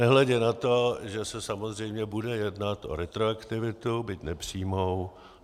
Nehledě na to, že se samozřejmě bude jednat o retroaktivitu, byť nepřímou.